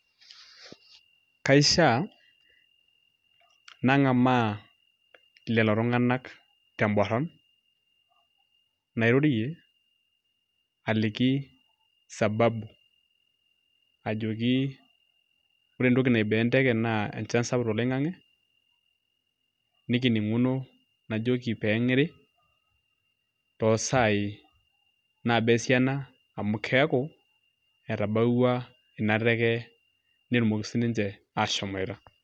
Kaishiaa nang'amaa lelo tung'anak temborron nairorie aliki sababu ajoki ore entoki naiboo enteke naa enchan sapuk toloing'ang'e nikining'uno najoki pee eng'iri toosaai naaba esiana amu keeku etabawua ina teke netumoki sininche aashomoita.